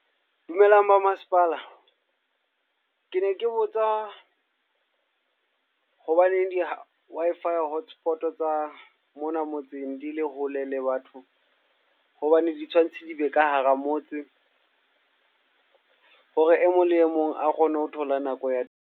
Dumelang ba masepala. Ke ne ke botsa hobaneng di-Wi-Fi hotspot tsa mona motseng di le hole le batho. Hobane di tshwanetse di be ka hara motse. Hore e mong le e mong a kgone ho thola nako ya .